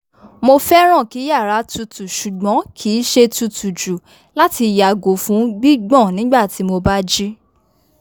mo fẹràn kí yàrá tutù shùgbón ki ṣe tutù jù lati yàgò fún gbígbọn nígbà tí mo bá jí